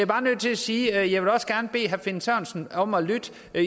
bare nødt til at sige at jeg også gerne vil bede herre finn sørensen om at lytte